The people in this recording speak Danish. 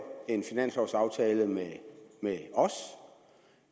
en finanslovaftale med med os